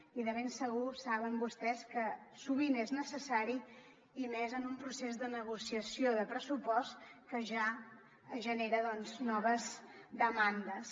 i de ben segur saben vostès que sovint és necessari i més en un procés de negociació de pressupost que ja genera noves demandes